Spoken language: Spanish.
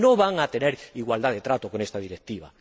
Porque no van a tener igualdad de trato con esta Directiva.